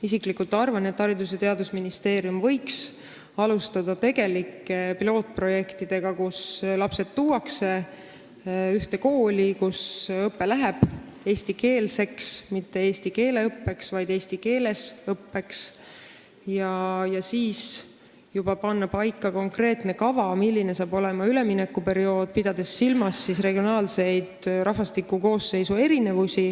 Isiklikult arvan, et Haridus- ja Teadusministeerium võiks alustada pilootprojektidega, et lapsed tuuakse kokku ühte kooli, kus õpe on eestikeelne – mitte eesti keele õppimine, vaid eesti keeles õppimine –, ja siis võiks juba panna paika konkreetse kava, milline hakkab olema üleminekuperiood, pidades silmas regionaalseid erinevusi rahvastiku koosseisus.